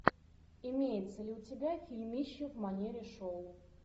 имеется ли у тебя фильмище в манере шоу